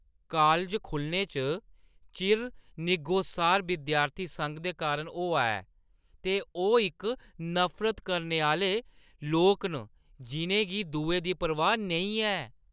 College खु 'ल्लने च चिर निग्गोसार विद्यार्थी संघ दे कारण होआ ऐ ते ओह् इक नफरत करने आह्‌ले लोक न जिʼनें गी दुएं दी परवाह् नेईं ऐ।